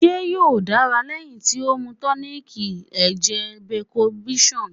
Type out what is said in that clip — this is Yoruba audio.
Ṣe yoo dara lẹhin ti o mu tonic lẹjẹ Becombion?